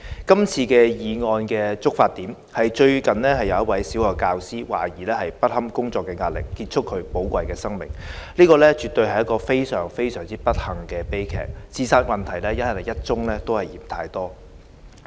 這次議案的觸發點是，最近有一位小學教師懷疑不堪工作壓力，結束寶貴的生命，這絕對是非常不幸的悲劇，自殺問題是一宗也嫌太多。